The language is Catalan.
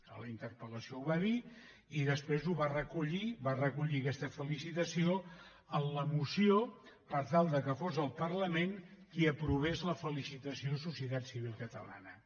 a la interpelprés va recollir aquesta felicitació en la moció per tal que fos el parlament qui aprovés la felicitació a societat civil catalana